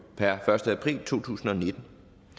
per første april to tusind og nitten